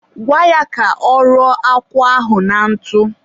gwa ya ka ọ rụọ akwụ ahụ na ntụ